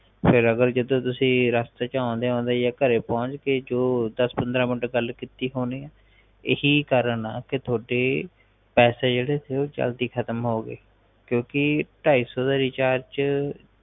ਫੇਰ ਅਗਰ ਤੁਸੀ ਰਾਸਤੇ ਚ ਆਉਂਦੇ ਆਉਂਦੇ ਜੇ ਘਰੇ ਪੁਹੰਚ ਗਏ ਜੋ ਦਸ ਪੰਦਰਾਂ ਮਿੰਟ ਗੱਲ ਕੀਤੀ ਹੋਣੀ ਅ ਇਹੀ ਕਾਰਨ ਆ ਤੁਹਾਡੇ ਪੈਸੇ ਬੋਹਤ ਜਲਦੀ ਖ਼ਤਮ ਹੋਗਏ ਕਿਉਂਕਿ ਢਾਈ ਸੋ ਦੇ ਰਿਚਾਰਜ ਚ